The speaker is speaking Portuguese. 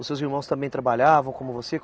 Os seus irmãos também trabalhavam como você?